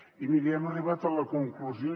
i miri hem arribat a la conclusió